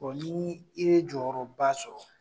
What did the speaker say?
n'ye jɔyɔrɔba sɔrɔ.